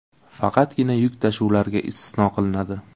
Faqatgina yuk tashuvlarga istisno qilinadi.